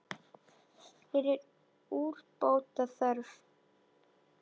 Hér er úrbóta þörf.